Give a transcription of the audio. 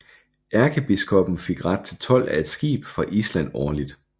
Erkebiskoppen fik ret til told af et skib fra Island årligt